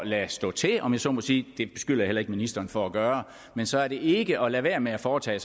lade stå til om jeg så må sige det beskylder jeg heller ikke ministeren for at gøre så er det ikke at lade være med at foretage